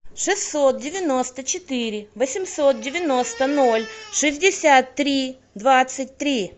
шестьсот девяносто четыре восемьсот девяносто ноль шестьдесят три двадцать три